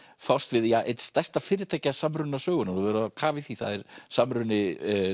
fást við einn stærsta fyrirtækjasamruna sögunnar þú hefur verið á kafi í því það er samruni